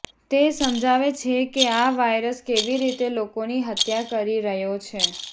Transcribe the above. તે સમજાવે છે કે આ વાયરસ કેવી રીતે લોકોની હત્યા કરી રહ્યો છે